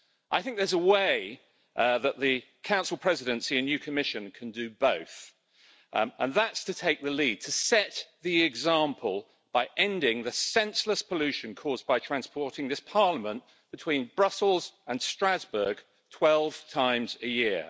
I think there's a way that the Council Presidency and new Commission can do both, and that is to take the lead, to set the example, by ending the senseless pollution caused by transporting this Parliament between Brussels and Strasbourg 12 times a year.